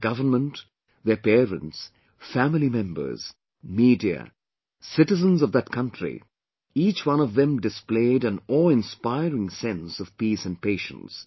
The government, their parents, family members, media, citizens of that country, each one of them displayed an aweinspiring sense of peace and patience